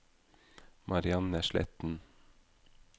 Marianne Sletten